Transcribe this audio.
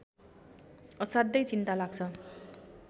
असाध्यै चिन्ता लाग्छ